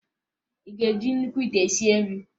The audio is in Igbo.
Ị ga-eji nnukwu ite sie nri?